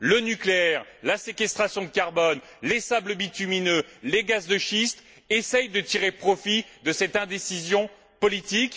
Le nucléaire, la séquestration de carbone, les sables bitumineux, les gaz de schiste essaient de tirer profit de cette indécision politique.